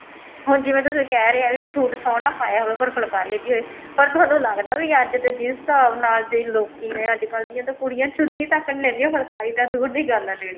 ਹੁਣ ਜਿਵੇਂ ਤੁਸੀਂ ਕਹਿ ਰਹੇ ਹੋ ਕਿ suit ਸੋਹਣਾ ਪਾਇਆ ਹੋਵੇ ਪਰ ਫੁਲਕਾਰੀ ਹੈਗੀ ਹੈ ਪਰ ਅੱਜ ਦੇ time ਚ ਤੁਹਾਨੂੰ ਲੱਗਦਾ ਅੱਜ ਦੇ ਜਿਸ ਹਿਸਾਬ ਨਾਲ ਜਿਹੜੇ ਲੋਕੀ ਨੇ ਅੱਜਕਲ ਦੀ ਕੁੜੀਆਂ ਤਾਂ ਚੁੰਨੀ ਤੱਕ ਨਹੀਂ ਲੈਂਦਿਆਂ ਫੁਲਕਾਰੀ ਤਾਂ ਦੂਰ ਦੀ ਗੱਲ ਹੈ ਲੇਨੀ